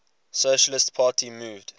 socialist party moved